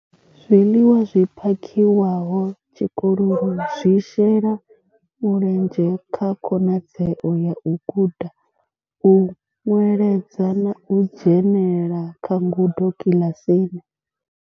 Zwiḽiwa zwi phakhiwaho tshikoloni zwi shela mulenzhe kha khonadzeo ya u guda, u nweledza na u dzhenela kha ngudo kiḽasini.